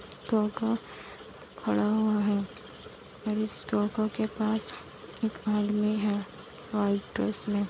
टोटो खड़ा हुआ है और इस टोटो के पास एक आदमी है व्हाइट ड्रेस मे।